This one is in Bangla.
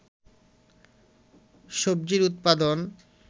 সবজির উৎপাদন